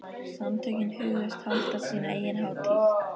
Samtökin hugðust halda sína eigin hátíð.